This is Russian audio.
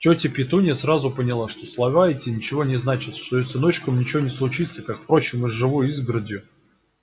тётя петунья сразу поняла что слова эти ничего не значат что с её сыночком ничего не случится как впрочем и с живой изгородью